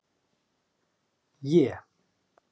É